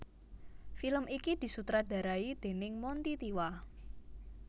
Film iki disutradarai déning Monty Tiwa